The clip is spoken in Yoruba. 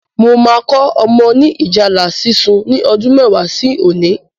Mo máa kọ́ ọmọ ni ìjálá sísun ni ọdún mẹ́wàá sí òní